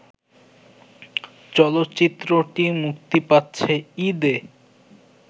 চলচ্চিত্রটি মুক্তি পাচ্ছে ঈদে